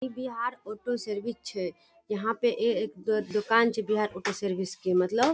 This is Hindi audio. इ बिहार ओटो सर्विस छै यहाँ पे एक द दूकान छै ओटो सर्विस के मतलब --